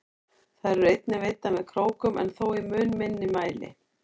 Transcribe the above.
Þær eru einnig veiddar með krókum en þó í mun minni mæli.